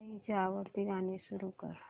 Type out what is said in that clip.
आईची आवडती गाणी सुरू कर